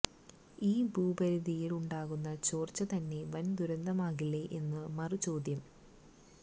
ഈ ദൂരപരിധിയില് ഉണ്ടാകുന്ന ചോര്ച്ച തന്നെ വന് ദുരന്തമാകില്ലേ എന്ന് മറുചോദ്യം